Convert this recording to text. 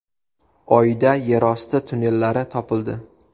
Oyda yerosti tunnellari topildi.